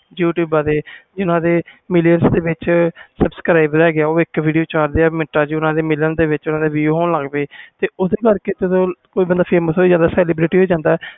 youtube ਤੇ ਜਿਨ੍ਹਾਂ ਦੇ million subscriber ਉਹ ਚਾਹੁੰਦੇ ਇਕ ਮਿੰਟਾਂ video ਨੂੰ million views ਹੋਣ ਲੱਗ ਗਏ ਤਾ ਓਹਦੇ ਕਰਕੇ ਬੰਦੇ famous ਹੋਈ ਜਾਂਦੇ ਆ